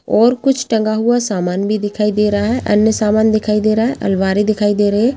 और कुछ टंगा हुआ समान दिखाई दे रहा है अन्य समान भी दिखाई दे रहा है अलमारी दिखाई दे रही है।